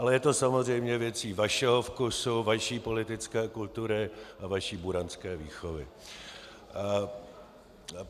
Ale je to samozřejmě věcí vašeho vkusu, vaší politické kultury a vaší buranské výchovy.